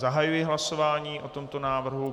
Zahajuji hlasování o tomto návrhu.